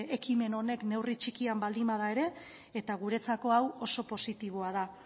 ekimen honek neurri txikian baldin bada ere isiltasuna mesedez guretzako hau oso positiboa da